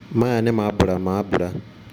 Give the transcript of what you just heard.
maya nĩ maambura ma mbura.